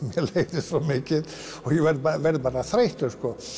leiðist svo mikið og ég verð bara þreyttur